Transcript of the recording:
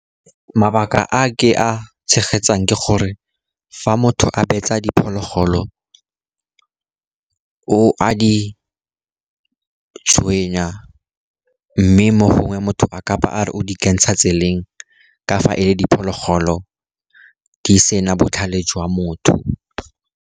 Mabaka a ke a tshegetsang ke gore fa motho a betsa diphologolo, o a di tshwenya, mme mo gongwe motho a kabo a re o di kentsha tseleng ka fa e le diphologolo di sena botlhale jwa motho.